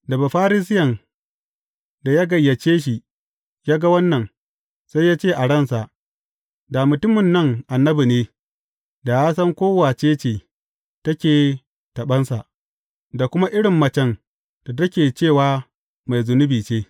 Da Bafarisiyen da ya gayyace shi, ya ga wannan, sai ya ce a ransa, Da mutumin nan annabi ne, da ya san ko wace ce take taɓansa, da kuma irin macen da take, cewa mai zunubi ce.